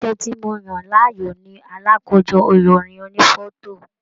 Iṣẹ tí mo yan láàyò ní alakojọ ìròyìn ònífọto.